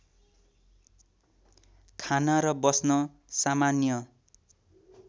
खान र बस्न सामान्य